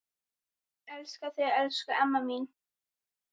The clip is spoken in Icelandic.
Elska þig, elsku amma mín.